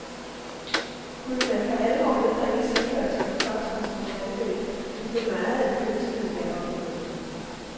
Kunne man for alvor nedbringe tilførslen af fosfor til vore vandløb, ville meget af det ønskede være opnået.